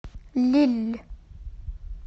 лилль